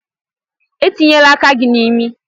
Etinyela aka gị n'imi!